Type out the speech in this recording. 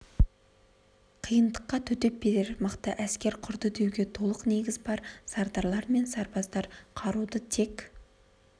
қиындыққа төтеп берер мықты әскер құрды деуге толық негіз бар сардарлар мен сарбаздар қаруды тек